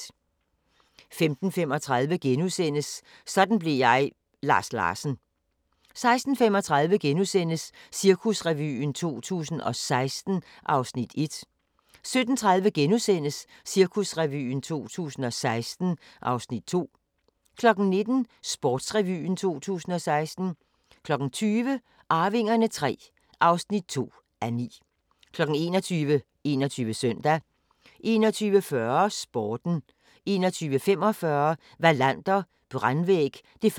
15:35: Sådan blev jeg – Lars Larsen * 16:35: Cirkusrevyen 2016 (Afs. 1)* 17:30: Cirkusrevyen 2016 (Afs. 2)* 19:00: Sportsrevyen 2016 20:00: Arvingerne III (2:9) 21:00: 21 Søndag 21:40: Sporten 21:45: Wallander: Brandvæg (1:2) 23:10: